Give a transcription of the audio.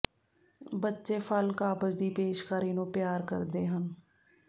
ਬੱਚੇ ਫਲ ਕਾਬਜ਼ ਦੀ ਪੇਸ਼ਕਾਰੀ ਨੂੰ ਪਿਆਰ ਕਰਦੇ ਹਨ